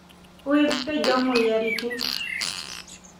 Web page omoyiaritin.